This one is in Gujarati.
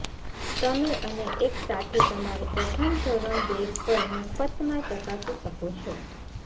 તમે અને એક સાથી તમારી પ્રથમ ધોરણ બેગ પણ મફતમાં ચકાસી શકો છો